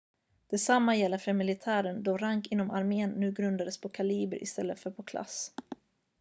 detsamma gäller för militären då rank inom armén nu grundades på kaliber istället för på klass